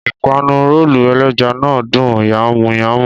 Ìpànù-ròòlù èlẹ̀já ná dùn yànmu-yànmu